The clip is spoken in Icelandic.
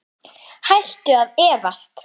Hættu að efast!